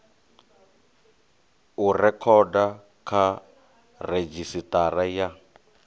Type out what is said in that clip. u rekhoda kha redzhisitara ya